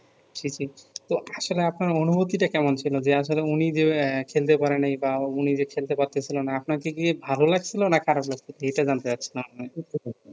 জ্বি জ্বি তো আপনার অনুভুতি টা কেমন ছিলো আসলে উনি যে এ খেলতে পারে নি বা উনি যে খেলতে পারতেছিলো না আপনাকে কি ভালো লাগছিলো না খারাপ লাগছিলো সেটা জানতে চাচ্ছিলাম